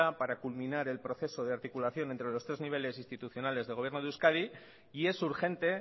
para culminar el proceso de articulación entre los tres niveles institucionales del gobierno de euskadi y es urgente